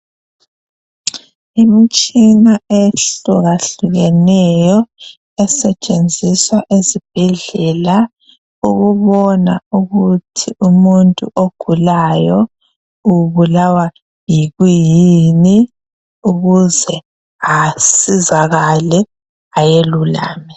Imitshina eyehlukahlukeneyo esetshenziswa esibhedlela ukubona ukuthi umuntu ogulayo ubulawa yini ukuze asizakale ayelulame.